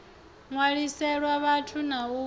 ṋwaliselwa vat na u ṱu